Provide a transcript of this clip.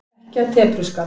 Ekki af tepruskap.